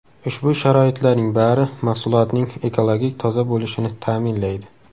Ushbu sharoitlarning bari mahsulotning ekologik toza bo‘lishini ta’minlaydi.